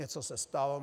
Něco se stalo.